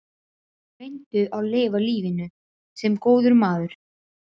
Reyndu að lifa lífinu- sem góður maður.